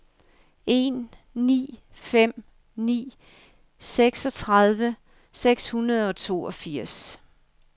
en ni fem ni seksogtredive syv hundrede og toogfirs